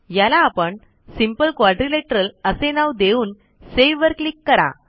याला आपण simple quadrilateral असे नाव देऊन सेव्ह वर क्लिक करा